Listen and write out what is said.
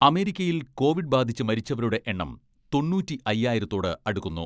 അമേരിക്കയിൽ കോവിഡ് ബാധിച്ച് മരിച്ചവരുടെ എണ്ണം തൊണ്ണൂറ്റി അയ്യായിരത്തോട് അടുക്കുന്നു.